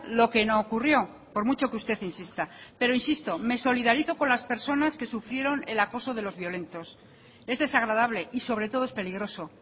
lo que no ocurrió por mucho que usted insista pero insisto me solidarizo con las personas que sufrieron el acoso de los violentos es desagradable y sobre todo es peligroso